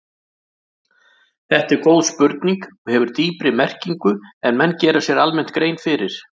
Þetta er góð spurning og hefur dýpri merkingu en menn gera sér almennt grein fyrir.